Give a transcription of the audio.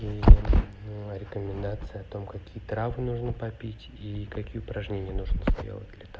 ну а рекомендация о том какие травы нужно попить и какие упражнения нужно сделать для та